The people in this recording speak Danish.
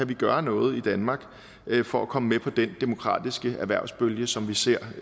kan gøre noget i danmark for at komme med på den demokratiske erhvervsbølge som vi ser